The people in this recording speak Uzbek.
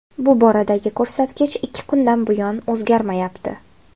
Bu boradagi ko‘rsatkich ikki kundan buyon o‘zgarmayapti.